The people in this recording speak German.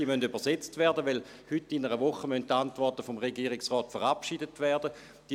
Diese müssen übersetzt werden, weil heute in einer Woche die Antworten des Regierungsrates verabschiedet werden müssen.